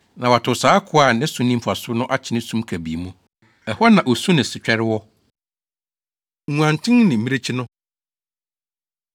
Na wɔatow saa akoa a ne so nni mfaso no akyene sum kabii mu; ɛhɔ na osu ne setwɛre wɔ.’ ” Nguanten Ne Mmirekyi No